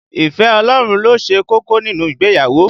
Ìfẹ́ Ọlọ́run ló ṣe kókó nínú ìgbéyàwó